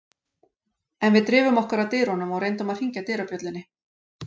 En við drifum okkur að dyrunum og reyndum að hringja dyrabjöllunni.